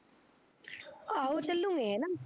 ਆਹੋ ਚਲੂਗੇ ਹੈਨਾ